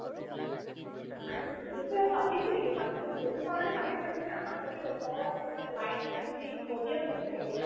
বা এনে পাতিছে কিবা কাৰণ সেইটো কাৰণে পাতিছে মানে আমাৰ ঘৰতো ওচৰত আছিল তাত light চাইট দি audio ও দিছিল ছাগে